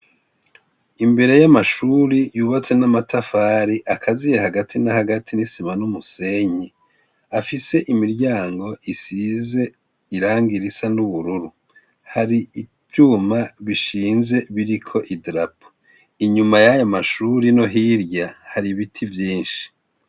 Imbere y' amashure yubatse n' amatafari akaziye hagati na hagati n' isima n' umusenyi afise imiryango isize irangi risa n' ubururu hari ivyuma bishinze biriko idarapo inyuma yayo mashure no hirya hari ibiti vyinshi.